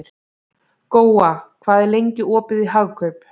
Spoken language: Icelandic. Góa, hvað er lengi opið í Hagkaup?